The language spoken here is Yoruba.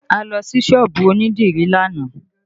A lọ sí sọ́ọ̀bù onídìrí lánàá